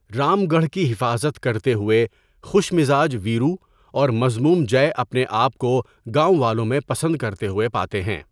رام گڑھ کی حفاظت کرتے ہوئے، خوش مزاج ویرو اور مذموم جئے اپنے آپ کو گاؤں والوں میں پسند کرتے ہوئے پاتے ہیں۔